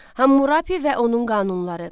Hammurapi və onun qanunları.